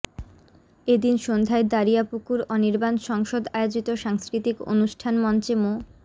এ দিন সন্ধ্যায় দ্বারিয়াপুর অনির্বাণ সংসদ আয়োজিত সাংস্কৃতিক অনুষ্ঠান মঞ্চে মো